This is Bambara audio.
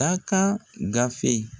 Dakan gafe.